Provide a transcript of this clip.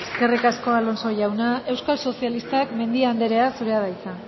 eskerrik asko alonso jauna euskal sozialistak mendia anderea zurea da hitza